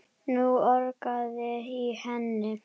Nú urgaði í henni.